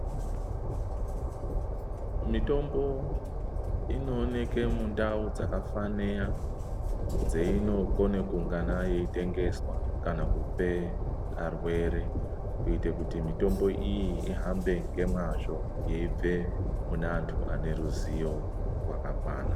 Mitombo inooneke mundau dzakafaniya dzeinokone kuungana yeitengeswa kana kupe arwere kuite kuti mitombo iyi ihambe ngemwazvo yeibve mune vantu vaneruziwo rwakakwana.